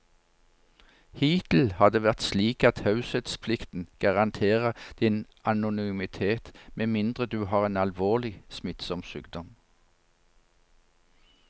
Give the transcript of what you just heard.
Hittil har det vært slik at taushetsplikten garanterer din anonymitet med mindre du har en alvorlig, smittsom sykdom.